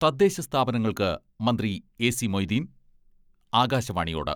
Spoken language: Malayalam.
തദ്ദേശസ്ഥാപനങ്ങൾക്ക് മന്ത്രി എ.സി മൊയ്തീൻ ആകാശവാണിയോട്..........